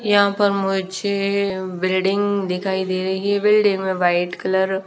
यहां पर मुझे बिल्डिंग दिखाई दे रही है बिल्डिंग में वाइट कलर --